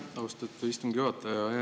Aitäh, austatud istungi juhataja!